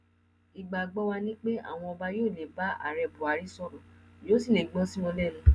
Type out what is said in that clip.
ìgbàgbọ wa ni pé àwọn ọba yóò lè bá ààrẹ buhari sọrọ yóò sì lè gbọ sí wọn lẹnu